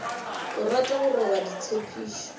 o rata go roba ditshepišo